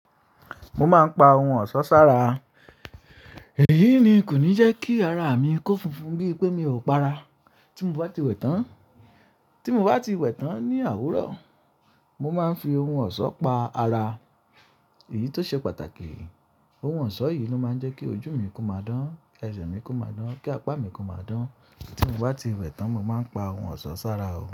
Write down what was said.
Mo máa ń pa ohun ọ̀ṣọ́ sára. Èyí ni kò ní jẹ́ kí ara mi kó funfun bí i pé mi ò para. Tí mo bá ti wẹ̀ tán, tí mo bá ti wẹ̀ tán ní àwúrọ̀, mo máa ń fi ohun ọ̀ṣọ́ pa ara. Èyí tó ṣe pàtàkì, ohun ọ̀ṣọ́ yìí ló máa ń jẹ́ kí ojú mi kó máa dán, ẹsẹ̀ mi kó máa dán, kí apá mi kó máa dán. Tí mo bá ti wẹ̀ tán, mo máa ń pa ohun ọ̀ṣọ́ sára o.